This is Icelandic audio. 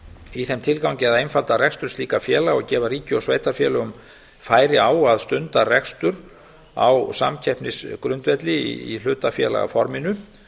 í þeim tilgangi að einfalda rekstur slíkra félaga og gefa ríki og sveitarfélögum færi á að stunda rekstur á samkeppnisgrundvelli í hlutafélagaforminu